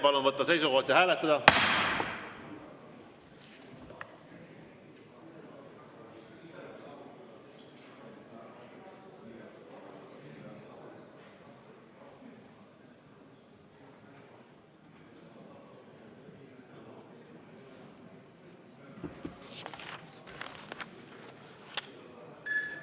Palun võtta seisukoht ja hääletada!